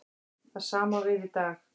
Það sama á við í dag.